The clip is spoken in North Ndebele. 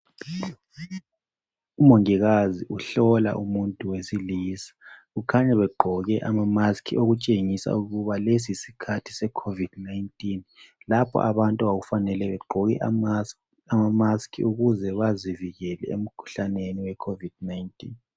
Umongikazi uhlola umuntu wesilisa kukhanya begqoke ama mask okutshengisa ukuba lesi yisikhathi se COVID-19 lapho abantu okwakufanele begqoke ama mask ukuze bazivikele emkhuhlaneni we COVID-19.